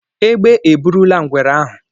Egbe e burula ngwere ahụ.